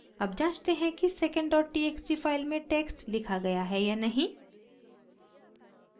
अब जांचते हैं कि secondtxt फाइल में टेक्स्ट लिखा गया है या नहीं